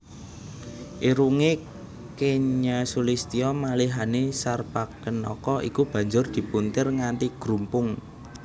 Irungé kenya sulistya malihané Sarpakenaka iku banjur dipuntir nganti grumpung